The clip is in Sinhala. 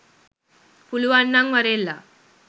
පුලුවන්නං වරෙල්ලා